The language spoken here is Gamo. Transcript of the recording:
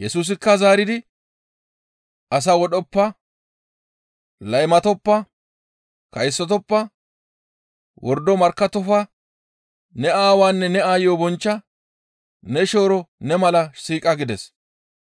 Yesusikka zaaridi, «As wodhoppa; laymatoppa; kaysotoppa; wordo markkattofa; ne aawaanne ne aayo bonchcha; ne shooro ne mala siiqa» gides.